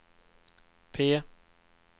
P